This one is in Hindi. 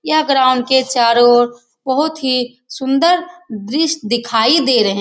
यह ग्राउंड के चारों और बहुत ही सुंदर दृश्य दिखाई दे रहें --